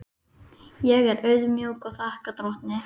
Ég er auðmjúk og þakka drottni.